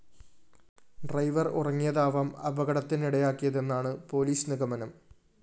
driver‍ ഉറങ്ങിയതാവാം അപകടത്തിനിടയാക്കിയതെന്നാണ് police നിഗമനം